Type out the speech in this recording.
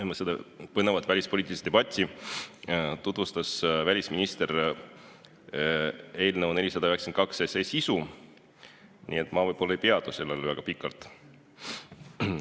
Enne seda põnevat välispoliitilist debatti tutvustas välisminister eelnõu 492 sisu, nii et ma võib-olla ei peatu sellel väga pikalt.